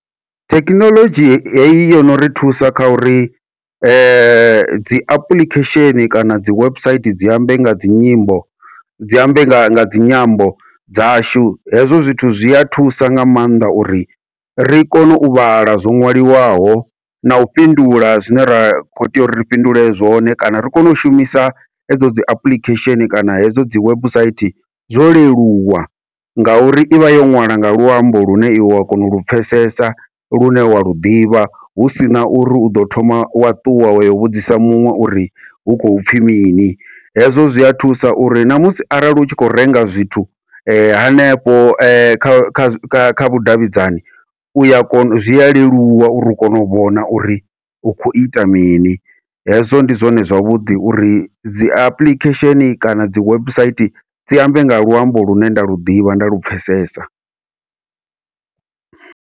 Thekhinoḽodzhi heyi yono ri thusa kha uri dzi apuḽikhesheni kana dzi website dzi ambe nga dzi nyimbo, dzi ambe nga nga dzinyambo dzashu hezwo zwithu zwi a thusa nga maanḓa uri ri kone u vhala zwo ṅwaliwaho nau fhindula zwine ra kho tea uri ri fhindule zwone, kana ri kone u shumisa edzo dzi apuḽikhesheni kana hedzo dzi website zwo leluwa, ngauri ivha yo ṅwala nga luambo lune iwe wa kona ulu pfhesesa lune wa lu ḓivha hu sina uri uḓo thoma wa ṱuwa wa yo vhudzisa muṅwe uri hu khou pfhi mini. Hezwo zwi a thusa uri namusi arali utshi khou renga zwithu hanefho kha kha kha vhudavhidzani, uya kona u zwi a leluwa uri u kone u vhona uri u khou ita mini hezwo ndi zwone zwavhuḓi uri dzi apuḽikhesheni kana dzi website dzi ambe nga luambo lune nda lu ḓivha nda lu pfhesesa.